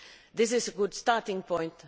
This is a good starting point.